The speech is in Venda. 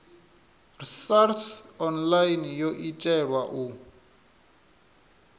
sars online yo itelwa u